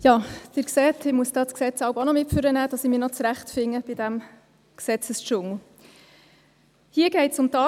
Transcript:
Sie sehen, ich muss das Gesetz manchmal nach vorne mitnehmen, damit ich mich in diesem Gesetzesdschungel zurechtfinde.